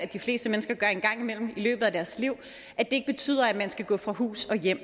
de fleste mennesker gør en gang imellem i løbet af deres liv ikke betyder at man skal gå fra hus og hjem